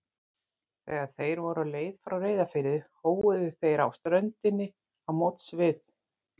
Þegar þeir voru á leið frá Reyðarfirði hóuðu þeir á ströndinni á móts við